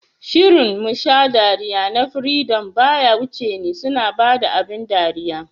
Shirin "Musha dariya" na freedom baya wuce ni, suna bada abin dariya